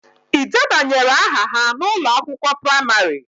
Ị debanyere aha ha n'ụlọ akwụkwọ praimarị?